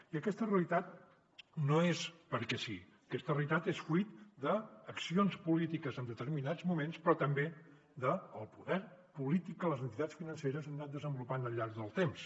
i aquesta realitat no és perquè sí aquesta realitat és fruit d’accions polítiques en determinats moments però també del poder polític que les entitats financeres han anat desenvolupant al llarg del temps